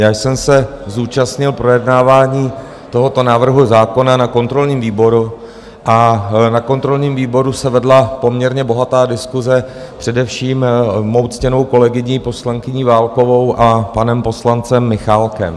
Já jsem se zúčastnil projednávání tohoto návrhu zákona na kontrolním výboru a na kontrolním výboru se vedla poměrně bohatá diskuse především mou ctěnou kolegyní, poslankyní Válkovou, a panem poslancem Michálkem.